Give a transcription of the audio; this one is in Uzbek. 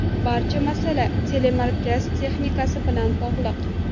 Barcha masala telemarkaz texnikasi bilan bog‘liq.